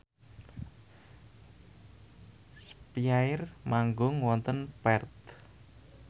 spyair manggung wonten Perth